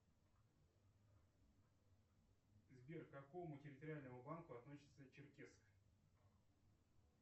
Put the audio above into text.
сбер к какому территориальному банку относится черкесск